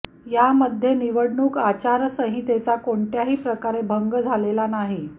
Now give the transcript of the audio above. यामध्ये निवडणूक आचारसंहितेचा कोणत्याही प्रकारे भंग झालेला नाही